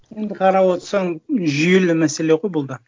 енді қарап отырсаң жүйелі мәселе ғой бұл да